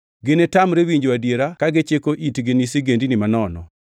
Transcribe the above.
Ginitamre winjo adiera ka gichiko itgi ni sigendini manono.